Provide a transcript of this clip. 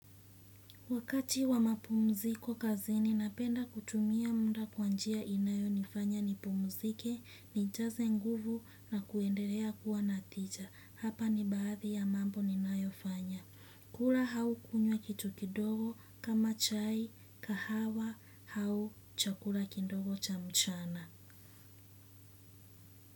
Wakati wa mapumziko kazi ninapenda kutumia muda kwa njia inayonifanya nipumzike, nijaze nguvu na kuendelea kuwa na tija. Hapa ni baadhi ya mambo ninayofanya. Kula au kunywa kitu kidogo kama chai, kahawa au chakula kidogo cha mchana.